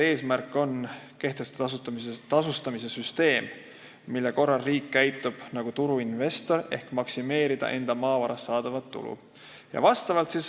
Eesmärk on kehtestada tasude süsteem, mille korral riik käitub nagu turuinvestor, kes soovib maksimeerida enda maavarast saadavat tulu.